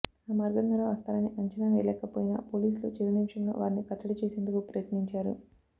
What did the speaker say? ఆ మార్గం ద్వారా వస్తారని అంచనా వేయలేకపోయినా పోలీసులు చివరి నిమిషంలో వారిని కట్టడి చేసేందుకు ప్రయత్నించారు